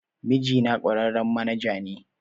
Mijina kwararren manaja ne